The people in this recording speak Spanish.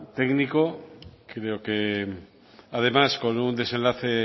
técnico creo además con un desenlace